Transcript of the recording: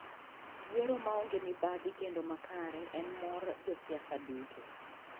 Yiero ma onge mibadhi kendo makare en morr josiasa duto.